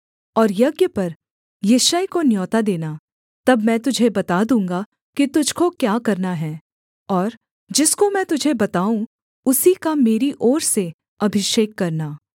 और यज्ञ पर यिशै को न्योता देना तब मैं तुझे बता दूँगा कि तुझको क्या करना है और जिसको मैं तुझे बताऊँ उसी का मेरी ओर से अभिषेक करना